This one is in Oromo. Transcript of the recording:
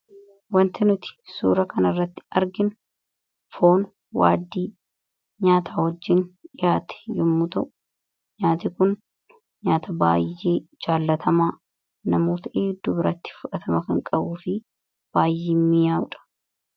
Waanti nuti suura kana irratti arginu Foon waaddii nyaata wajjiin dhihaate yommuu ta'u; Nyaanni kun nyaata baay'ee jaalatamaafi namoota hedduu biratti fudhatama kan qabuufi baay'ee mi'aawudha.